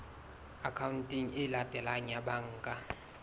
akhaonteng e latelang ya banka